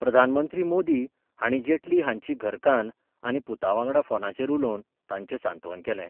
प्रधानमंत्री मोदी हाणी जेटली हांची घरकान्न आनी पुतावांगडा फोनाचेर उलोवन तांचे सांतवन केले.